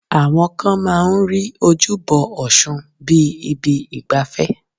Àwọn kan máa ń rí ojúbọ ọ̀ṣun bíi ibi ìgbafẹ́